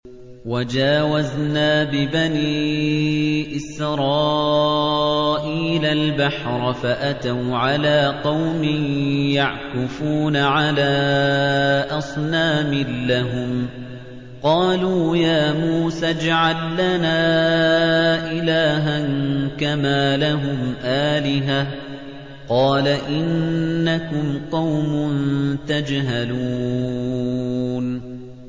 وَجَاوَزْنَا بِبَنِي إِسْرَائِيلَ الْبَحْرَ فَأَتَوْا عَلَىٰ قَوْمٍ يَعْكُفُونَ عَلَىٰ أَصْنَامٍ لَّهُمْ ۚ قَالُوا يَا مُوسَى اجْعَل لَّنَا إِلَٰهًا كَمَا لَهُمْ آلِهَةٌ ۚ قَالَ إِنَّكُمْ قَوْمٌ تَجْهَلُونَ